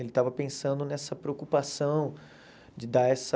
Ele estava pensando nessa preocupação de dar essa...